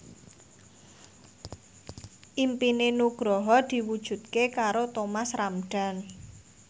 impine Nugroho diwujudke karo Thomas Ramdhan